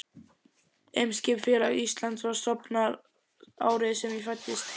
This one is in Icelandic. Eimskipafélag Íslands var stofnað árið sem ég fæddist.